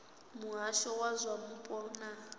muhasho wa zwa mupo na